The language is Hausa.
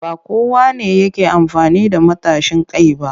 Ba kowa ne yake amfani da matashin kai ba